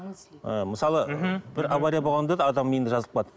мысалы мхм бір авария болғанда да адамның миында жазылып қалады